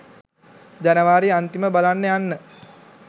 ජනවාරි අන්තිම බලන්න යන්න